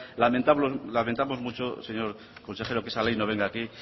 lamentamos muchos señor consejero que esa ley no venga aquí